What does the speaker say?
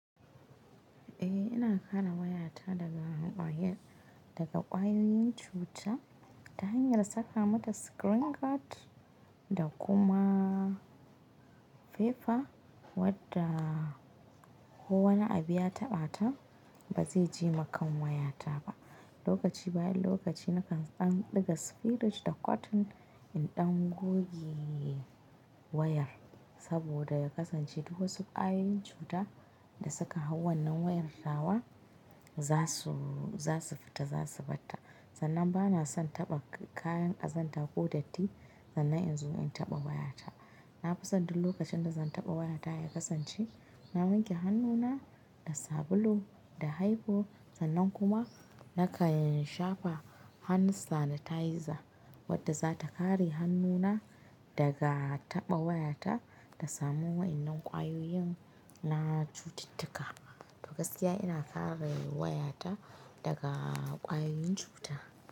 Eh, ina kare wayata daga ƙwayar, daga ƙwayoyin cuta, ta hanyar saka mata screen guard da kuma fefa wadda ko wani abu ya taɓa ta, ba zai jema kan wayata ba. Lokaci bayan lokaci nakan ɗan ɗiga spirit da cotton in ɗan goge wayar saboda ya kasance duk wasu ƙwayoyin cuta da suka hau wannan wayar tawa za su, za su fita za su batta. Sannan ba na son taɓa kayan ƙazanta ko datti sannan in zo in taɓa wayata. Na fi san du lokacin da zan taɓa wayata ya kasance, na wanke hannuna da sabulu da haifo sannan kuma nakan shafa hand sanitizer wadda za ta kare hannuna daga taɓa wayata ta samu waƴannan ƙwayoyin na cututtuka. Gaskiya ina kare wayata daga ƙwayoyin cuta.